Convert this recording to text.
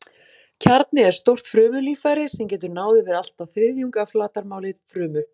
Kjarni er stórt frumulíffæri sem getur náð yfir allt að þriðjung af flatarmáli frumu.